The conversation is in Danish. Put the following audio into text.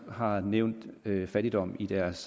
har nævnt fattigdommen i deres